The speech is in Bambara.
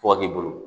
Tɔgɔ b'i bolo